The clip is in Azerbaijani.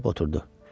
Dikəlib oturdu.